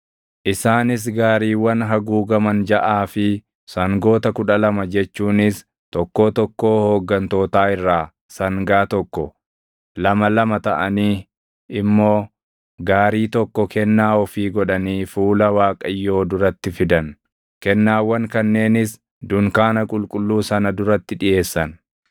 Isaanis gaariiwwan haguugaman jaʼaa fi sangoota kudha lama jechuunis tokkoo tokkoo hooggantootaa irraa sangaa tokko, lama lama taʼanii immoo gaarii tokko kennaa ofii godhanii fuula Waaqayyoo duratti fidan. Kennaawwan kanneenis dunkaana qulqulluu sana duratti dhiʼeessan.